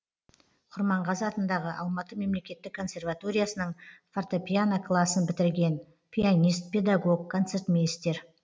құрманғазы атындағы алматы мемлекеттік консерваториясының фортепьяно классын бітірген пианист педагог концертмейстер